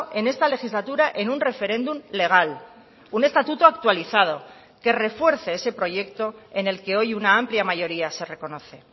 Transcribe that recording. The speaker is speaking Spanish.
en esta legislatura en un referéndum legal un estatuto actualizado que refuerce ese proyecto en el que hoy una amplia mayoría se reconoce